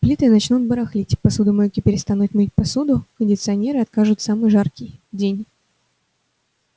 плиты начнут барахлить посудомойки перестанут мыть посуду кондиционеры откажут в самый жаркий день